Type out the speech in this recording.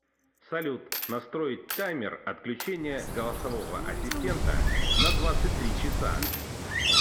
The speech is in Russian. салют настроить таймер отключения голосового ассистента на двадцать три часа